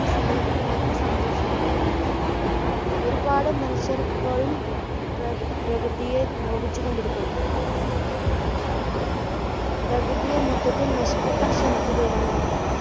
സ്നേഹിക്കുന്നതും സംരക്ഷിക്കുന്നതുമില്ല. ഒരുപാട് മനുഷ്യർ ഇപ്പോഴും പ്ര~പ്രകൃതിയെ നോവിച്ചുകൊണ്ടിരിക്കുകയാണ്. പ്രകൃതിയെ മൊത്തത്തിൽ നശിപ്പിക്കാൻ ശ്രമിക്കുകയാണ്